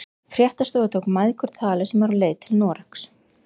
Fréttastofa tók mæðgur tali sem eru á leið til Noregs?